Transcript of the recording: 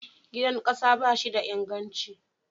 Gidan ƙasa ba shi da inganci.